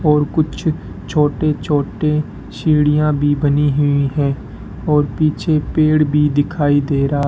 और कुछ छोटी छोटी सीढ़ियां भी बनी हुई हैं और पीछे पेड़ भी दिखाई दे रहा--